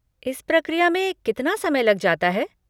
इस प्रक्रिया में कितना समय लग जाता है?